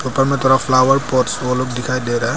ऊपर मे तरफ फ्लावर पॉट्स दिखाई दे रहा है।